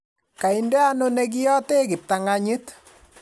kainde ano ne kiyate kiptang'anyit